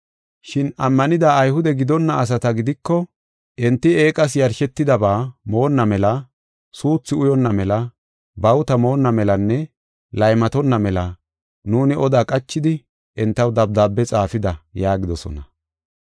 “Shin ammanida Ayhude gidonna asata gidiko, enti eeqas yarshetidaba moonna mela, suuthu uyonna mela, bawuta moonna melanne laymatonna mela, nuuni oda qachidi, entaw dabdaabe xaafida” yaagidosona.